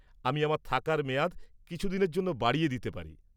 আমি আমার থাকার মেয়াদ কিছুদিনের জন্য বাড়িয়ে দিতে পারি।